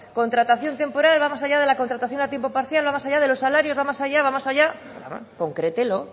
contratación temporal va más allá de la contratación a tiempo parcial va más allá de los salarios va más allá va más allá concrételo